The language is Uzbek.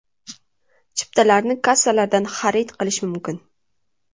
Chiptalarni kassalardan xarid qilish mumkin.